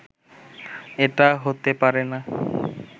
এটা হতে পারে না